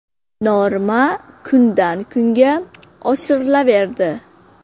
Norma kundan-kunga oshirilaverdi.